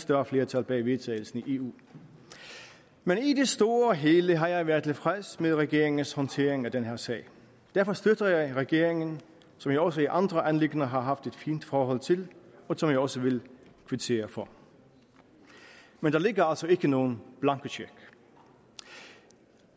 større flertal bag vedtagelsen i eu men i det store og hele har jeg været tilfreds med regeringens håndtering af den her sag derfor støtter jeg regeringen som jeg også i andre anliggender har haft et fint forhold til som jeg også vil kvittere for men der ligger altså ikke nogen blankocheck